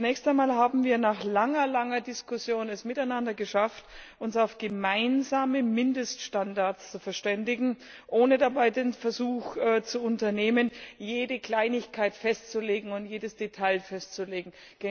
Zunächst einmal haben wir nach langer Diskussion es miteinander geschafft, uns auf gemeinsame Mindeststandards zu verständigen, ohne dabei den Versuch zu unternehmen, jede Kleinigkeit und jedes Detail festzulegen.